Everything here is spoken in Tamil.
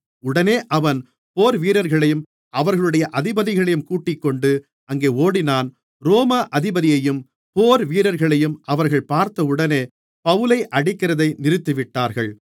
உடனே அவன் போர்வீரர்களையும் அவர்களுடைய அதிபதிகளையும் கூட்டிக்கொண்டு அங்கே ஓடினான் ரோம அதிபதியையும் போர்வீரர்களையும் அவர்கள் பார்த்தவுடனே பவுலை அடிக்கிறதை நிறுத்திவிட்டார்கள்